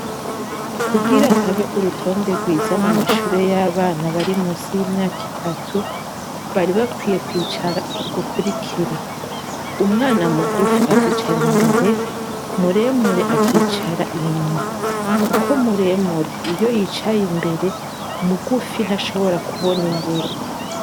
Kugira habe urutonde rwiza mumashure yabana bari munsi yimyaka itatu bari bakwiye kwicara ugukurikira umwana mugufi akicara imbere muremure akicara inyuma kuko muremure iyo yicaye imbere mugufi ntashobora kubona imbere